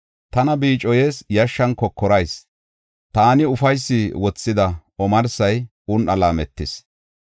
Tana biicoyees; yashshan kokoras; taani ufaysi wothida omarsay un7an laametis.